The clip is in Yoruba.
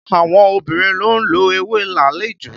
Àwọn obìnrin ló ń lo ewé làálì jù